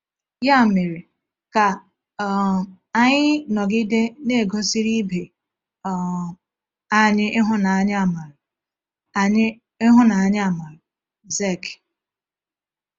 Ya mere, ka um anyị “nọgide na-egosiri ibe um anyị ịhụnanya-amara.” anyị ịhụnanya-amara.” — Zek.